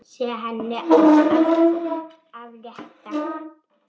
Segja henni allt af létta.